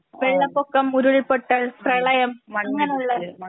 വെള്ളപ്പൊക്കം ഉരുൾപൊട്ടൽ പ്രളയം അങ്ങനെയുള്ള